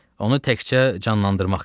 Onu təkcə canlandırmaq qalır.